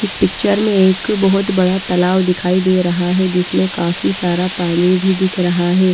इस पिक्चर में एक बहोत बड़ा तलाव दिखाई दे रहा है जिसमें काफी सारा पानी भी दिख रहा है।